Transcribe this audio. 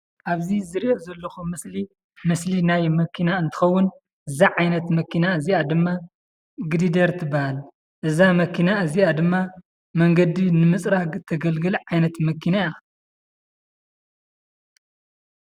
አብዚ ዝሪኦ ዘለኩ ምስሊ፡ ምስሊ ናይ መኪና እንትኸውን፤ እዛ ዓይነት መኪና እዚአ ድማ ግሪደር ትበሃል፡፡ እዛ መኪና እዚአ ድማ መንገዲ ንምፅራግ ተገልግል ዓይነት መኪና እያ፡፡